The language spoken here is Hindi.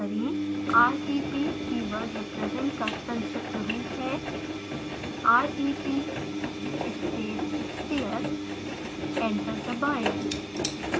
rep कीवर्ड represent का संक्षिप्त रूप है rep space sphere; एंटर दबाएँ